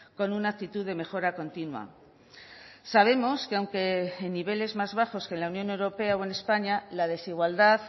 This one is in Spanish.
con una actitud de mejora continua sabemos que aunque en niveles más bajos que la unión europea o en españa la desigualdad